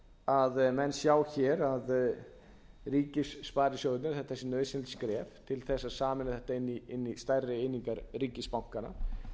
að menn sjá hér að ríkissparisjóðirnir að þetta sé nauðsynlegt skref til þess að sameina þetta inn í stærri einingar ríkisbankanna